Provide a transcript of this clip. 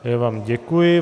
Já vám děkuji.